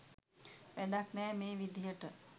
වැඩක් නෑ මේ විදිහට